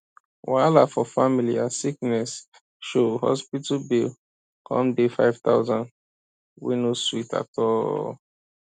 wahala for family as sickness show hospital bill come dey five thousand wey no sweet at all